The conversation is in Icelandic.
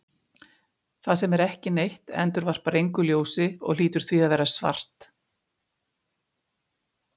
Það sem er ekki neitt endurvarpar engu ljósi og hlýtur því að vera svart.